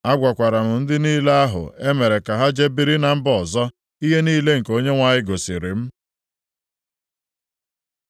Agwakwara m ndị niile ahụ e mere ka ha jee biri na mba ọzọ ihe niile nke Onyenwe anyị gosiri m.